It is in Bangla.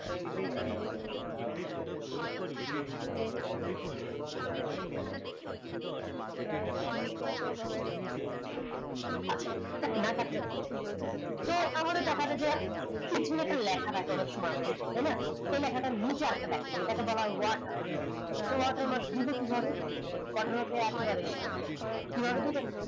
না কালে হত তো আমাদের দেখাছে যে পিছনে একটা লেখা থালে অনেক সময় তাই না এই লেখাটা নিচে এসে লেখা থাকে এঁটাকে বলে watermark তো watermark দিবো কি ভাবে watermark একে বারে সহজ কি ভাবে দিবো